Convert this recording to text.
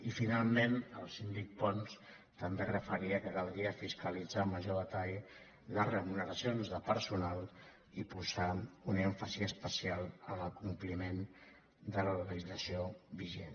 i finalment el síndic pons també es referia a que caldria fiscalitzar amb major detall les remuneracions de personal i posar un èmfasi especial en el compliment de la legislació vigent